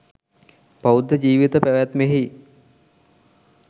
බෞද්ධ ජීවිත පැවැත්මෙහි